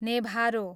नेभारो